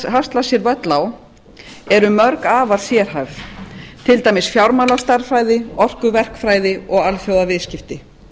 hasla sér völl á eru mörg afar fjölhæf til dæmis fjármálastærðfræði orkuverkfræði og alþjóðaviðskipti